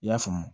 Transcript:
I y'a faamu